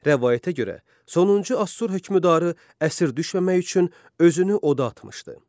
Rəvayətə görə, sonuncu Assur hökmdarı əsir düşməmək üçün özünü oda atmışdı.